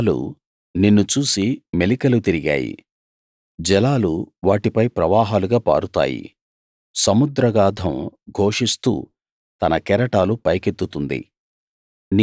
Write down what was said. పర్వతాలు నిన్ను చూసి మెలికలు తిరిగాయి జలాలు వాటిపై ప్రవాహాలుగా పారుతాయి సముద్రాగాధం ఘోషిస్తూ తన కెరటాలు పైకెత్తుతుంది